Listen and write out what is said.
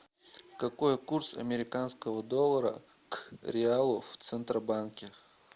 какой курс американского доллара к реалу в центробанке